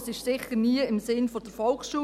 Das war bestimmt nie im Sinne der Volksschule.